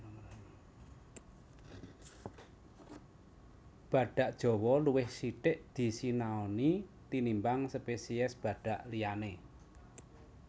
Badhak Jawa luwih sithik disinaoni tinimbang spesies badhak liyané